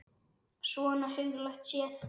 Svona huglægt séð.